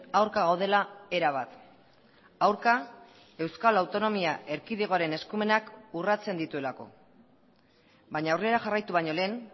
aurka gaudela erabat aurka euskal autonomia erkidegoaren eskumenak urratzen dituelako baina aurrera jarraitu baino lehen